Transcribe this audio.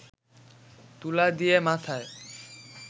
তুলা দিয়ে মাথায়